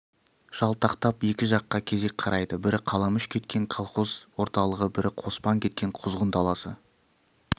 жалтақтап екі жаққа кезек қарайды бірі қаламүш кеткен колхоз орталығы бірі қоспан кеткен құзғын даласы